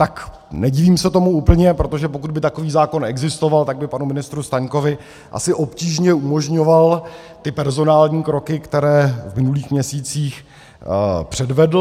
Tak nedivím se tomu úplně, protože pokud by takový zákon existoval, tak by panu ministru Staňkovi asi obtížně umožňoval ty personální kroky, které v minulých měsících předvedl.